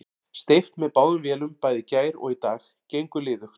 Steypt með báðum vélum bæði í gær og í dag, gengur liðugt.